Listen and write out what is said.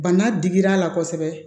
Bana digir'a la kosɛbɛ